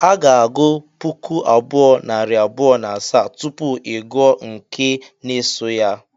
A ga-agụ puku abụọ, narị abụọ na asaa, tupu ị gụọ nke n-asọ ya